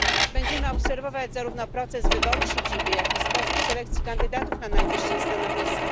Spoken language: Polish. Będziemy obserwować zarówno proces wyboru siedziby, jak i sposób selekcji kandydatów na najwyższe stanowiska.